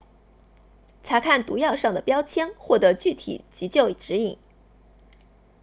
查看毒药上的标签获得具体急救指引